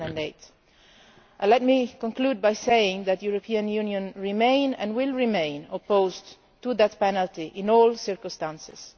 2008. Let me conclude by saying that the European Union remains and will remain opposed to the death penalty in all circumstances.